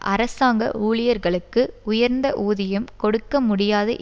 அரசாங்க ஊழியர்களுக்கு உயர்ந்த ஊதியம் கொடுக்க முடியாது